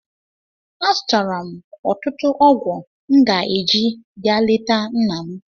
Azụtara m ọtụtụ ọgwụ m ga-eji ga leta nna m.